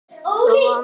Elsku Einar.